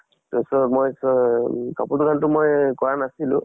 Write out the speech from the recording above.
ত so মই so অম কাপোৰৰ দুকানত টো মই কৰা নাছিলো